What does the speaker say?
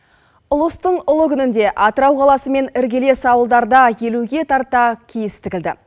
ұлыстың ұлы күнінде атырау қаласымен іргелес ауылдарда елуге тарта киіз тігілді